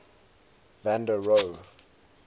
van der rohe